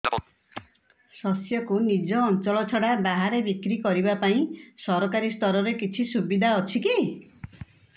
ଶସ୍ୟକୁ ନିଜ ଅଞ୍ଚଳ ଛଡା ବାହାରେ ବିକ୍ରି କରିବା ପାଇଁ ସରକାରୀ ସ୍ତରରେ କିଛି ସୁବିଧା ଅଛି କି